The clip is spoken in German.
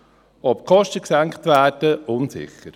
ob die Kosten gesenkt werden ist unsicher.